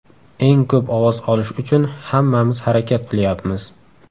Eng ko‘p ovoz olish uchun hammamiz harakat qilyapmiz.